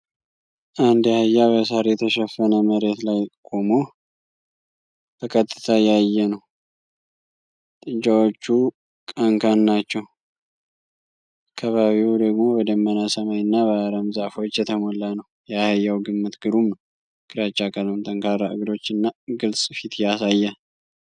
አንድ አህያ በሣር የተሸፈነ መሬት ላይ ቆሞ በቀጥታ ያየ ነው። ጥጃዎቹ ቀንካን ናቸው፣ አካባቢው ደግሞ በደመና ሰማይ እና በአረም ዛፎች የተሞላ ነው። የአህያው ግምት ግሩም ነው፣ ግራጫ ቀለም፣ ጠንካራ እግሮች እና ግልጽ ፊት ያሳያል።